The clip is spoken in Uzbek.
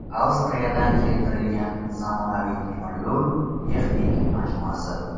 Avstriyadan keltirilgan zamonaviy temiryo‘l texnik majmuasi.